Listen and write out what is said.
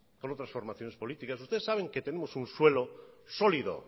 con otras formaciones políticas ustedes saben que tenemos un suelo sólido